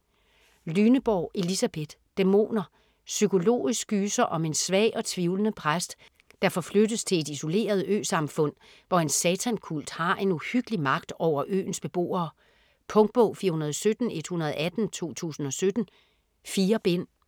Lyneborg, Elisabeth: Dæmoner Psykologisk gyser om en svag og tvivlende præst, der forflyttes til et isoleret øsamfund, hvor en satankult har en uhyggelig magt over øens beboere. Punktbog 417118 2017. 4 bind.